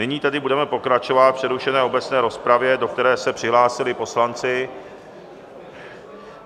Nyní tedy budeme pokračovat v přerušené obecné rozpravě, do které se přihlásili poslanci.